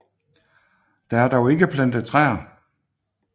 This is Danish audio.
Der er dog ikke plantet træer